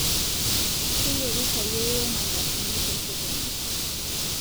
Keyierita yeiyo mandasini tesokoni